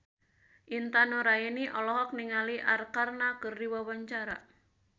Intan Nuraini olohok ningali Arkarna keur diwawancara